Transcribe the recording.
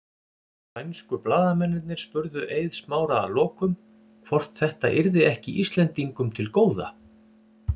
Sænsku blaðamennirnir spurðu Eið Smára að lokum hvort þetta yrði ekki Íslendingum til góða?